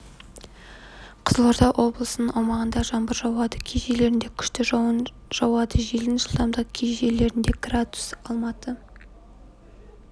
қызылорда облысының аумағында жаңбыр жауады кей жерлерінде күшті жауын жауады желдің жылдамдығы кей жерлерде градус алматы